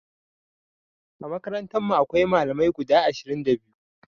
A makarantarmu akwai Malamai guda ashirin da biyu.